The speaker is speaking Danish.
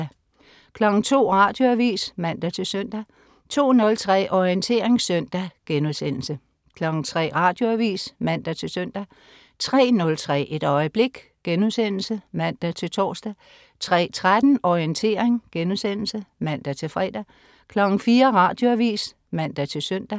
02.00 Radioavis (man-søn) 02.03 Orientering søndag* 03.00 Radioavis (man-søn) 03.03 Et øjeblik* (man-tors) 03.13 Orientering* (man-fre) 04.00 Radioavis (man-søn)